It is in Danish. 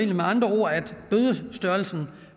med andre ord at bødestørrelsen